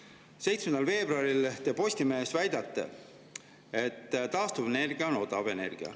Postimehe 7. veebruari te väidate: "Taastuvenergia on odav energia."